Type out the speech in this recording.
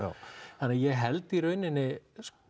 þannig að ég held að í rauninni